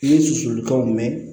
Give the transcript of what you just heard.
Ni susuli ka mɛnɛ